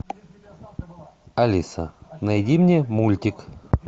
алиса найди мне мультик